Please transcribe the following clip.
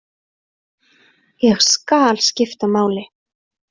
Ég skal skipta máli.